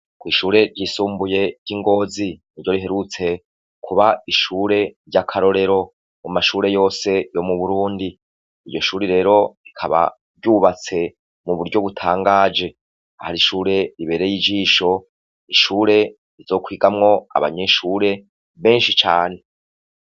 Kw'ishure ryisumbuye ry'ingozi ni ryo r iherutse kuba ishure ry'akarorero mu mashure yose yo mu burundi iyo shure rero ikaba ryubatse mu buryo butangaje ahar ishure ribere y'ijisho ishure rizokwigamwo abanyishure benshi cane.